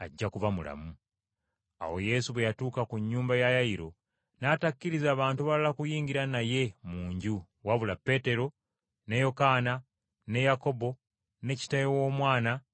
Awo Yesu bwe yatuuka ku nnyumba ya Yayiro, n’atakkiriza bantu balala kuyingira naye mu nju wabula Peetero, ne Yokaana, ne Yakobo, ne kitaawe w’omwana, ne nnyina.